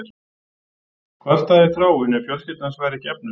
Hvar stæði Þráinn ef fjölskylda hans væri ekki efnuð?